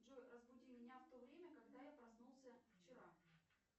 джой разбуди меня в то время когда я проснулся вчера